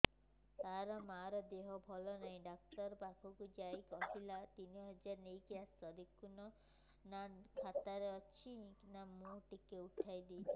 ତାର ମାର ଦେହେ ଭଲ ନାଇଁ ଡାକ୍ତର ପଖକେ ଯାଈଥିନି କହିଲା ତିନ ହଜାର ନେଇକି ଆସ ଦେଖୁନ ନା ଖାତାରେ କେତେ ଅଛି ମୁଇଁ ଟିକେ ଉଠେଇ ଥାଇତି